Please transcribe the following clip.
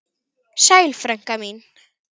Sæl frænka mín.